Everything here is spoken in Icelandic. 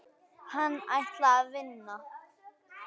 Hann ætlaði að vinna.